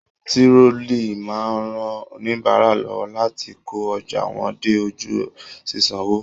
Tirọli máa n rán oníbárà lọwọ láti kó ọjà wọn dé ojú ṣiṣanwo.